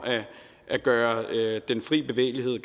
at gøre den fri bevægelighed